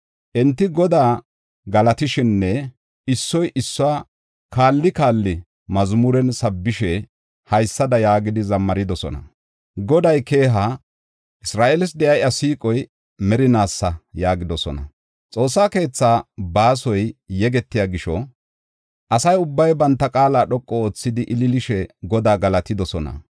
Enti Godaa galatishenne issoy issuwa kaali kaali mazmuren sabbishe, haysada yaagidi zammaridosona. “Goday keeha; Isra7eeles de7iya iya siiqoy merinaasa” yaagidosona. Xoossa keetha baasoy yegetiya gisho, asa ubbay banta qaala dhoqu oothidi ililishe Godaa galatidosona.